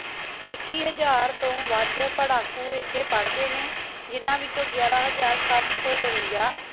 ਇਕਿ ਹਜ਼ਾਰ ਤੋ ਵਧ ਪਾਰ੍ਹਾਕੂ ਏਥੀ ਪਾਰ੍ਹ੍ਡੀ ਨੀ ਜਿੰਨਾ ਵਿਚੋ ਗਾਯਾਰਾ ਹਜ਼ਾਰ ਸਾਤ ਸੋ ਬਾਵਿਨ੍ਜਾ